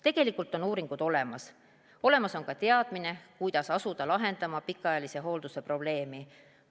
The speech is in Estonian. Tegelikult on uuringud olemas, olemas on teadmine, kuidas asuda pikaajalise hoolduse probleemi lahendama.